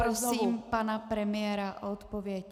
Poprosím pana premiéra o odpověď.